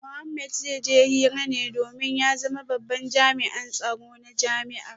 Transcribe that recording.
Mohammed zai je hira ne domin ya zama babban jami’in tsaro na jami’ar